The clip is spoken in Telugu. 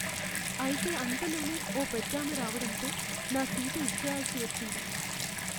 అయితే అంతలోనే ఓ పెద్దామె రావడంతో నా సీటు ఇచ్చెయ్యాల్సి వచ్చింది.